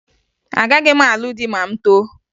Agaghị m alụ di ma m too